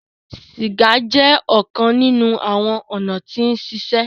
Siga jẹ ọkan ninu awọn ọna ti sise